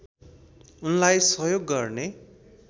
उनलाई सहयोग गर्ने